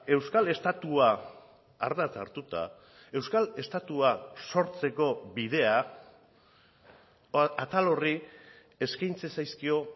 euskal estatua ardatz hartuta euskal estatua sortzeko bidea atal horri eskaintzen zaizkio